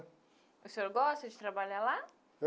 O senhor gosta de trabalhar lá?